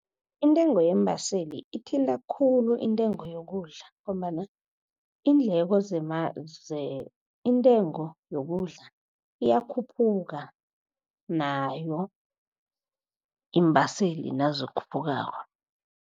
Intengo yeembaseli ithinta khulu intengo yokudla, ngombana iindleko intengo yokudla iyakhuphuka nayo iimbaseli nazikhuphukako.